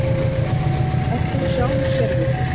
Björn: Ert þú sjálfur sérvitur?